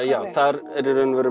já þar er ég í raun og veru